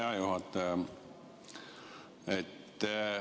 Hea juhataja!